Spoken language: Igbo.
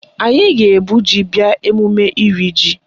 Anyị ga-ebu ji bịa emume iri ji